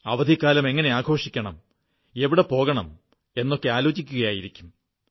അവധിക്കാലം എങ്ങനെ ആഘോഷിക്കണം എവിടെ പോകണം എന്നൊക്കെ ആലോചിക്കയായിരിക്കും